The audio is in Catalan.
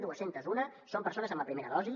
dos cents i un són persones amb la primera dosi